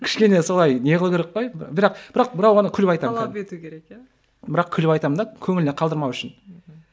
кішкене солай не қылу керек қой бірақ бірақ бірақ оны күліп айтамын талап ету керек иә бірақ күліп айтамын да көңіліне қалдырмау үшін мхм